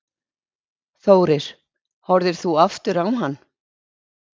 Þórir: Horfðir þú aftur á hann?